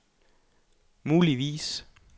muligvis